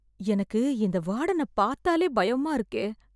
எனக்கு இந்த வாடனப் பாத்தாலே பயமா இருக்கே...